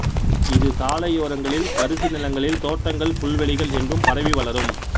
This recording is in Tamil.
இது சாலை யோரங்களில் தரிசு நிலங்களில் தோட்டங்கள் புல்வெளிகள் எங்கும் பரவி வளரும்